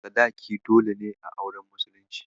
Sadaki dole ne a auren musulunci.